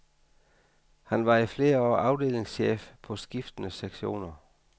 Han var i flere år afdelingschef på skiftende sektioner.